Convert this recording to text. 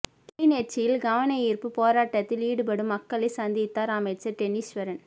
கிளிநொச்சியில் கவனயீர்ப்பு போராட்டத்தில் ஈடுபடும் மக்களை சந்தித்தார் அமைச்சர் டெனீஸ்வரன்